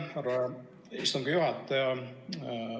Aitäh, härra istungi juhataja!